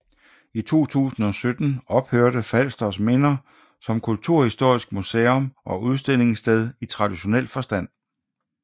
I 2017 ophørte Falsters Minder som kulturhistorisk musum og udstillingssted i traditionel forstand